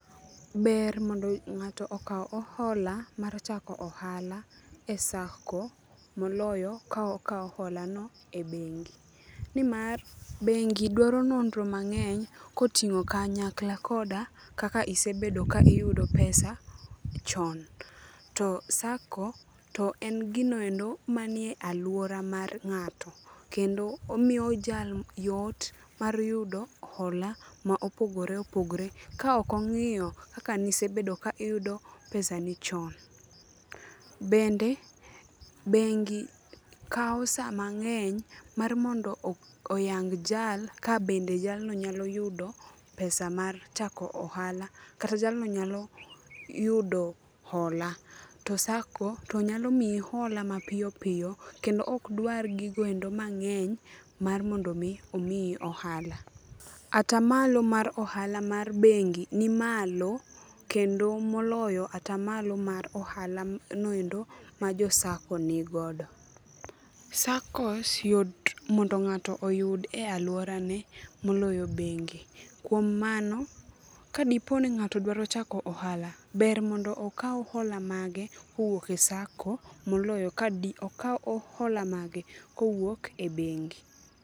Ber mondo ng'ato okaw hola mar chako ohala e sacco moloyo ka okawo holano e bengi. Nimar bengi dwaro nonro mang'eny koting'o kanyakla koda kaka isebedo ka iyudo pesa chon. To sacco to en gino endo manie alwora mar ng'ato, kendo omiyo jal yot mar yudo hola ma opogore opogore kaok ong'iyo kaka nisebedo ka iyudo pesani chon. Bende, bengi kawo sa mang'eny mar mondo oyang jal ka bende jalno nyalo yudo pesa mar chako ohala kata jalno nyalo yudo hola. To sacco to nyalo miyi hola mapiyopiyo kendo ok dwar gigo endo mang'eny mar mondo omiyi ohala. Atamalo mar ohala mar bengi ni malo kendo moloyo atamalo mar ohalano endo ma jo sacco nigodo. Saccos yot mondo ng'ato oyud e alworane moloyo bengi. Kuom mano, kadipo ni ng'ato dwaro chako ohala, ber mondo okaw hola mage kowuok e sacco moloyo kadi okaw hola mage kowuok e bengi.